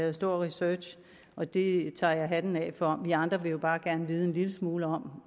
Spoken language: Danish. en stor research og det tager jeg hatten af for vi andre vil jo bare gerne vide en lille smule om